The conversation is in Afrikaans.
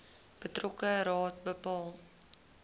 betrokke raad bepaal